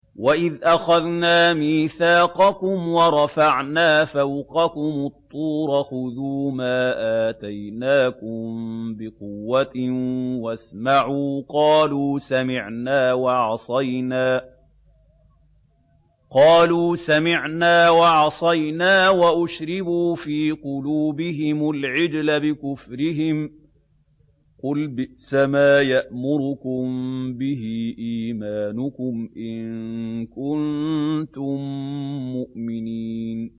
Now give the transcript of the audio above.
وَإِذْ أَخَذْنَا مِيثَاقَكُمْ وَرَفَعْنَا فَوْقَكُمُ الطُّورَ خُذُوا مَا آتَيْنَاكُم بِقُوَّةٍ وَاسْمَعُوا ۖ قَالُوا سَمِعْنَا وَعَصَيْنَا وَأُشْرِبُوا فِي قُلُوبِهِمُ الْعِجْلَ بِكُفْرِهِمْ ۚ قُلْ بِئْسَمَا يَأْمُرُكُم بِهِ إِيمَانُكُمْ إِن كُنتُم مُّؤْمِنِينَ